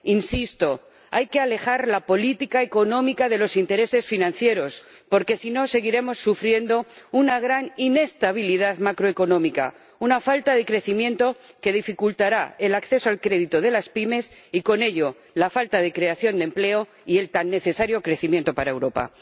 Insisto, hay que alejar la política económica de los intereses financieros porque, si no, seguiremos sufriendo una gran inestabilidad macroeconómica, una falta de crecimiento que dificultará el acceso al crédito de las pymes y, con ello, la creación de empleo y el tan necesario crecimiento para Europa.